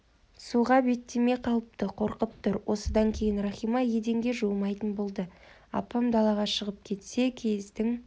суға беттемей қалыпты қорқып тұр осыдан кейін рахима еденге жуымайтын болды апам далаға шығып кетсе киіздің